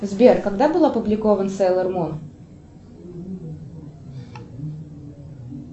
сбер когда был опубликован сейлор мун